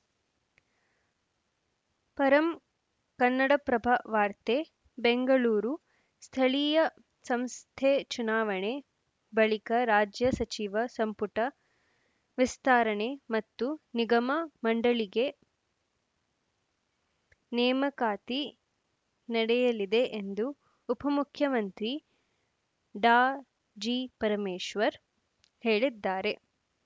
ಪರಂ ಕನ್ನಡಪ್ರಭ ವಾರ್ತೆ ಬೆಂಗಳೂರು ಸ್ಥಳೀಯ ಸಂಸ್ಥೆ ಚುನಾವಣೆ ಬಳಿಕ ರಾಜ್ಯ ಸಚಿವ ಸಂಪುಟ ವಿಸ್ತರಣೆ ಮತ್ತು ನಿಗಮ ಮಂಡಳಿಗ ನೇಮಕಾತಿ ನಡೆಯಲಿದೆ ಎಂದು ಉಪಮುಖ್ಯಮಂತ್ರಿ ಡಾಜಿಪರಮೇಶ್ವರ್‌ ಹೇಳಿದ್ದಾರೆ